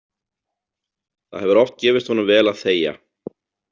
Það hefur oft gefist honum vel að þegja.